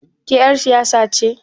Ke ƴar siyasa ce?